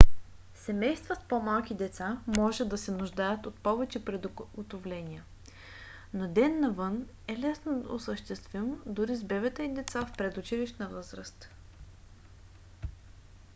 семейства с по-малки деца може да се нуждаят от повече приготовления но ден навън е лесно осъществим дори с бебета и деца в предучилищна възраст